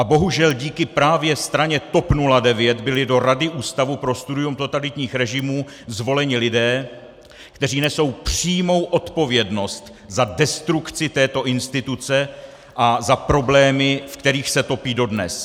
A bohužel díky právě straně TOP 09 byli do Rady Ústavu pro studium totalitních režimů zvoleni lidé, kteří nesou přímou odpovědnost za destrukci této instituce a za problémy, ve kterých se topí dodnes!